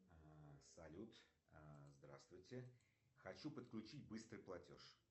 салют здравствуйте хочу подключить быстрый платеж